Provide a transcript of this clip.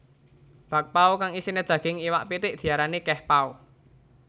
Bakpao kang isiné daging iwak pitik diarani kehpao